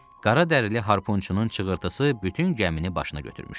Qaradərili harponçunun çığırtısı bütün gəmini başına götürmüşdü.